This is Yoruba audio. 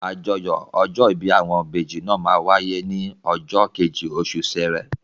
Àjọyọ̀ ọjọ́ ìbí àwọn ìbejì náà máa wáyé ní ọjọ́ kejì oṣù Sẹrẹ